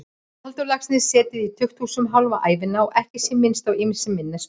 Halldór Laxness setið í tukthúsum hálfa ævina, að ekki sé minnst á ýmsa minni spámenn.